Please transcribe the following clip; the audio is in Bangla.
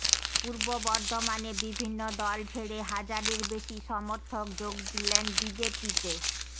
পূর্ব বর্ধমানে বিভিন্ন দল ছেড়ে হাজারের বেশি সমর্থক যোগ দিলেন বিজেপিতে